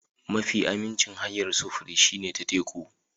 Mafi aminci hanyar sufuri shine ta teku.